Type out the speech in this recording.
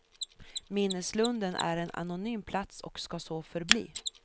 Minneslunden är en anonym plats och ska så förbli.